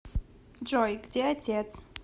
джой где отец